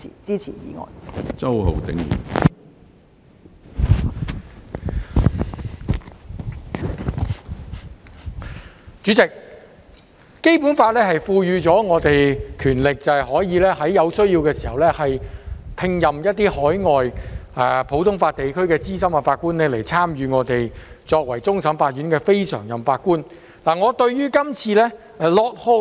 主席，《基本法》賦予我們權力，在有需要時聘任海外普通法地區的資深法官擔任終審法院非常任法官，參加審判案件。